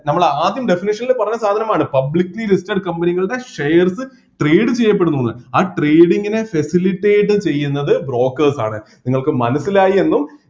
നമ്മള് ആദ്യം definition ൽ പറഞ്ഞ സാധനമാണ് publicly listed company കളുടെ shares trade ചെയ്യപ്പെടുന്നുന്ന് ആ trading നെ facilitate ചെയ്യുന്നത് brokers ആണ് നിങ്ങൾക്ക് മനസ്സിലായി എന്നും